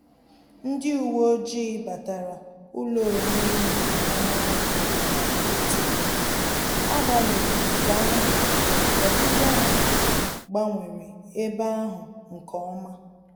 Ndị uwe ojii batara ụlọ oriri na ọṅụṅụ ahụ na nkịtị, agbanyeghi nke ahụ, obibia ha gbanwere ebe ahụ nke ọma